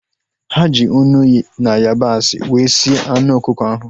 Ha ji unu na yabasị wee sie anụ ọkụkọ ahu